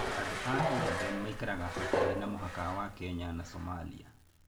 Andũ a Ogaden maikaraga hakuhĩ na mũhaka wa Kenya na Somalia.